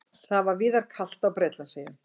Það var víðar kalt á Bretlandseyjum